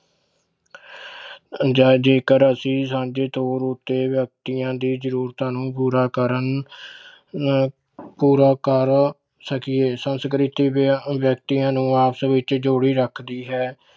ਜਾਂ ਜੇਕਰ ਅਸੀਂ ਸਾਂਝੇ ਤੌਰ ਉੱਤੇ ਵਿਅਕਤੀਆਂ ਦੀ ਜ਼ਰੂਰਤਾਂ ਨੂੰ ਪੂਰਾ ਕਰਨ ਅਹ ਪੂਰਾ ਕਰ ਸਕੀਏ ਸੰਸਕ੍ਰਿਤੀ ਵਿ~ ਵਿਅਕਤੀਆਂ ਨੂੰ ਆਪਸ ਵਿੱਚ ਜੋੜੀ ਰੱਖਦੀ ਹੈ,